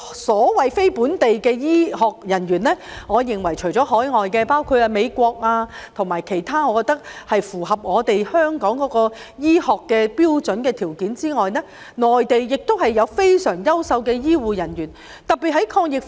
所謂非本地醫護人員，我認為除了海外，包括美國及其他國家能符合香港醫學標準和條件外，內地也有非常優秀的醫護人員。